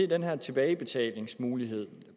den her tilbagebetalingsmulighed